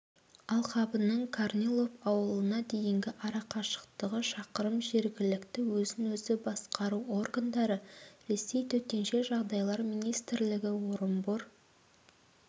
алқабының корнилов ауылына дейінгі арақашықтығы шақырым жергілікті өзін-өзі басқару органдары ресей төтенше жағдайлар министрлігі орынбор